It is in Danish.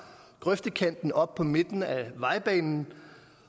grøftekanten og op på midten af vejbanen